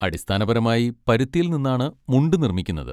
അടിസ്ഥാനപരമായി പരുത്തിയിൽ നിന്നാണ് മുണ്ട് നിർമ്മിക്കുന്നത്.